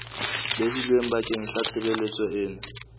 behilweng bakeng sa tshebeletso ena